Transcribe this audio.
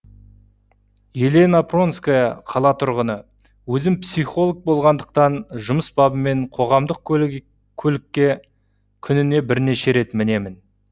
елена пронская қала тұрғыны өзім психолог болғандықтан жұмыс бабымен қоғамдық көлікке күніне бірнеше рет мінемін